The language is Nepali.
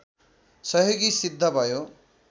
सहयोगि सिद्ध भयो